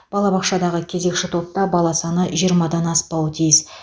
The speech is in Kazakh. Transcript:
балабақшадағы кезекші топта бала саны жиырмадан аспауы тиіс